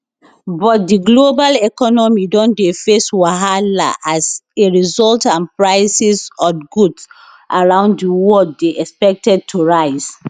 but di global economy don dey face wahala as a result and prices od goods around di world dey expected to rise